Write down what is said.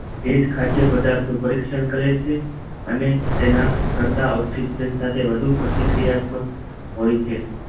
એ જ ખાદ્ય પદાર્થો પરીક્ષણ કરે છે અને તેના કરતાં ઑક્સીન સાથે વધુ પ્રતિક્રિયાત્મક હોય છે